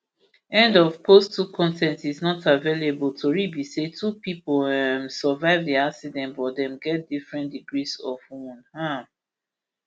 end of x post two con ten t is not available tori be say two pipo um survive di accident but dem get different degrees of wound um